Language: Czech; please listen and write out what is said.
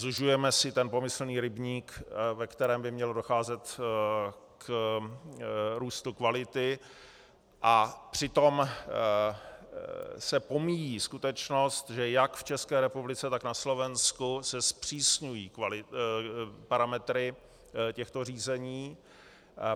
Zužujeme si ten pomyslný rybník, ve kterém by mělo docházet k růstu kvality, a přitom se pomíjí skutečnost, že jak v České republice, tak na Slovensku se zpřísňují parametry těchto řízení.